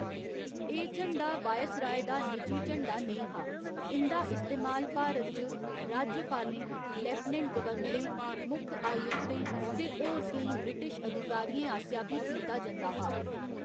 एह्‌‌ झंडा वायसराय दा निजी झंडा नेईं हा, इं'दा इस्तेमाल भारत च राज्यपालें, लेफ्टिनेंट गवर्नरें, मुक्ख आयुक्तें ते होर केईं ब्रिटिश अधिकारियें आसेआ बी कीता जंदा हा।